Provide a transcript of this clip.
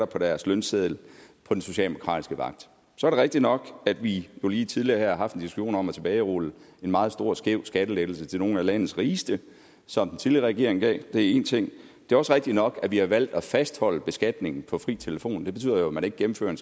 på deres lønseddel på den socialdemokratiske vagt så er det rigtigt nok at vi jo lige her tidligere har haft en diskussion om at tilbagerulle en meget stor og skæv skattelettelse til nogle af landets rigeste som den tidligere regering gav det er én ting det er også rigtigt nok at vi har valgt at fastholde beskatningen på fri telefon og det betyder jo at man ikke gennemfører en